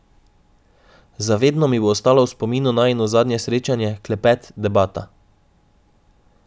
Za vedno mi bo ostalo v spominu najino zadnje srečanje, klepet, debata.